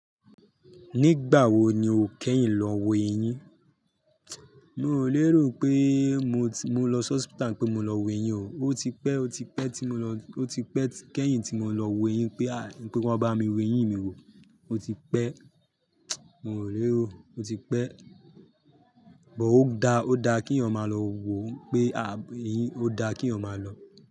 Nígbà wo ni o kẹ́yìn lọ wo eyín? Mi ò lérò pé mo ti-- mo lọsi hospital n pé mo lọ wo eyín o. O ti pẹ́, o ti pẹ́ tí mo lọ-- o ti pẹ́ kẹ́yìn tí mo lọ wo eyín pé, n pé ki wón bá mi wo eyín mi wo. O ti pẹ́, mi ò lérò, o ti pẹ́. But ó da, ó da kí eeyan maa lọ wo pé abi, ó da kí eeyan ma lọ.